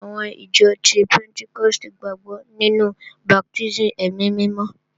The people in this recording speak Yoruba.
Àwọn ìjọ ti pẹ́ntíkọ́stì gbàgbọ́ nínú baptísì ẹ̀mí mímọ́